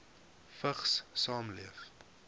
vigs saamleef